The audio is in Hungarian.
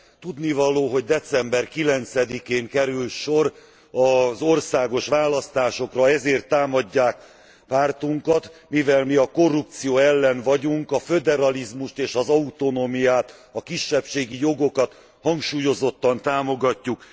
Tudnivaló, hogy december 9 én kerül sor az országos választásokra, ezért támadják pártunkat, mivel mi a korrupció ellen vagyunk, a föderalizmust és az autonómiát, a kisebbségi jogokat hangsúlyozottan támogatjuk.